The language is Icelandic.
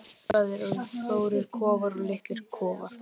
Það eru stórir kofar og litlir kofar.